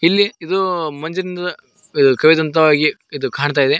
ಇಲ್ಲಿ ಇದು ಮಂಜಿನ್ ಕವಿದಂತವಾಗಿ ಇದು ಕಾಣ್ತಾ ಇದೆ.